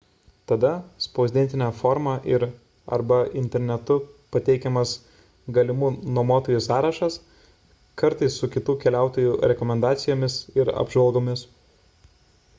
tada spausdintine forma ir arba internetu pateikiamas galimų nuomotojų sąrašas kartais su kitų keliautojų rekomendacijomis ir apžvalgomis